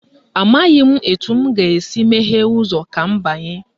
Amaghị m etu m ga-esi meghee ụzọ a ka m banye